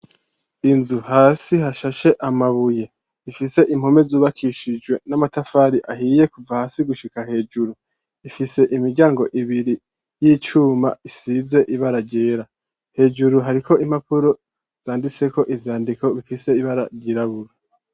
Inzu hasi hashashe amabuye ifise impome zubakishijwe n'amatafari ahiye kuva hasi gushika hejuru ifise imiryango ibiri yicuma isize ibara ryera, hejuru hariko impapuro zanditseko ivyandiko bifise ibara ryirabura.